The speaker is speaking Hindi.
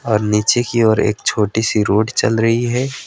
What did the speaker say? और नीचे की और एक छोटी सी रोड चल रही है।